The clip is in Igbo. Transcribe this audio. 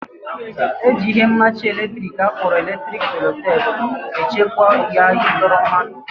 Eji ihe mmachi latrik akpọrọ electric sellotape echekwa waya ịdọrọ mmadụ